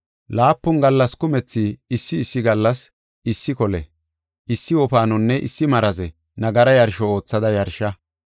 “Laapun gallas kumethi, issi issi gallas, issi kole, issi wofaanonne issi maraze nagara yarsho oothada yarsha.